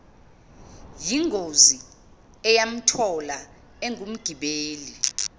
yingozi eyamthola engumgibeli